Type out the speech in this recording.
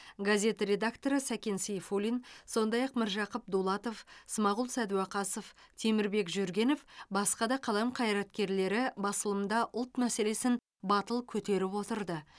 газет редакторы сәкен сейфуллин сондай ақ міржақып дулатов смағұл сәдуақасов темірбек жүргенов басқа да қалам қайраткерлері басылымда ұлт мәселесін батыл көтеріп отырды